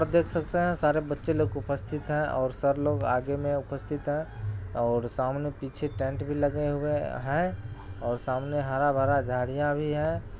और देख सकते हैं सारे बच्चे लोग उपस्थित हैं और सर लोग आगे में उपस्थित हैं और सामने पीछे टेंट भी लगे हुए हैं और सामने हरा-भरा झाड़ियां भी हैं ।